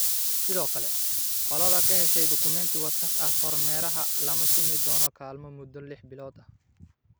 Sidoo kale, qolada ka hesha dukumeenti wasakh ah kormeeraha lama siin doono kaalmo muddo liix bilood ah.